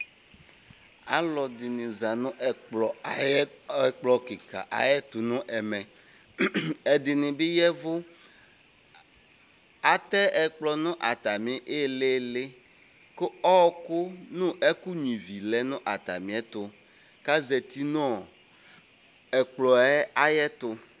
Aluɛdini za nu ɛkplɔ kika ayɛtu nu ɛmɛ ɛdini bi yavu atɛ ɛkplɔ nu atami ilili ku ɔku nu ɛku nya ivi lɛ nu atamiɛtu kazati nu ɛkplɔ yɛtu